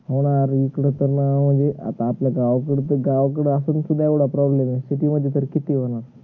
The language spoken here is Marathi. हो ना रे हे इकड तर अं जे आपल्या गावाकड, गावकड शुद्धा असल problem आहे city मध्ये तर किती होणार